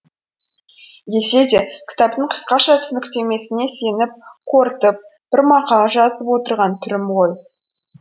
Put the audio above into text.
десе де кітаптың қысқаша түсініктемесіне сеніп қорытып бір мақала жазып отырған түрім ғой